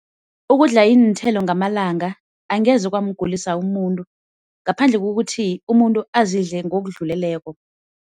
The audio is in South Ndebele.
Ukudla iinthelo ngamalanga angeze kwamgulisa umuntu ngaphandle kokuthi umuntu azidle ngokudluleleko.